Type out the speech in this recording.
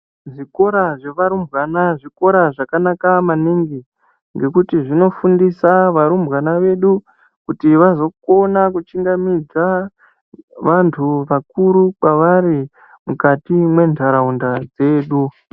Zvikora zvevarumbwana zvakanaka maningi ngekuti zvinofundisa varumbwana vedu kuti vazokona kuchingamidza vantu vakuru kwavari mukati mwentaraunda dzedu.